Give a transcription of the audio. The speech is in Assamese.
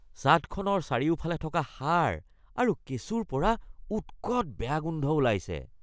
ছাদখনৰ চাৰিওফালে থকা সাৰ আৰু কেঁচুৰ পৰা উৎকট বেয়া গোন্ধ ওলাইছে